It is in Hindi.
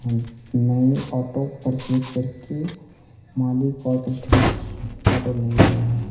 नई ऑटो परचेज करके मालिक आटो के साथ फोटो ले रहे--